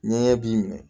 Ɲɛgɛn b'i minɛ